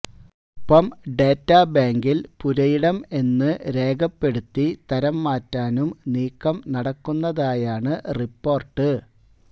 ഒപ്പം ഡേറ്റാ ബാങ്കിൽ പുരയിടം എന്നു രേഖപ്പെടുത്തി തരംമാറ്റാനും നീക്കം നടക്കുന്നതായാണ് റിപ്പോർട്ട്